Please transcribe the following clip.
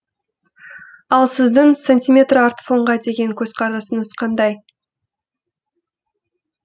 ал сіздің сантиметрартфонға деген көзқарасыңыз қандай